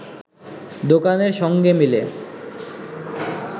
দোকানের সঙ্গে মিলে